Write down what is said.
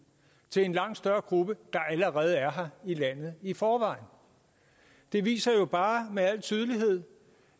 til en langt større gruppe der allerede er her i landet i forvejen det viser jo bare med al tydelighed